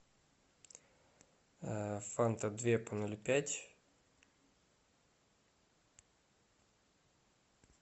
фанта две по ноль пять